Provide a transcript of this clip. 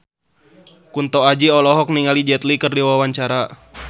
Kunto Aji olohok ningali Jet Li keur diwawancara